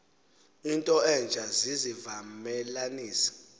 into entsha zizivamelanisi